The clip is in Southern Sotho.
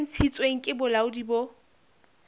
e ntshitsweng ke bolaodi bo